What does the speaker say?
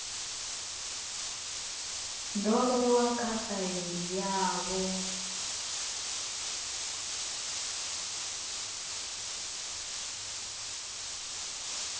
do vhewa kha faili yavho